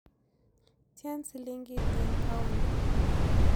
Tyan silingiit eng' paondit